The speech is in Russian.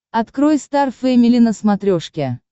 открой стар фэмили на смотрешке